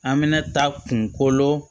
An bɛna taa kungolo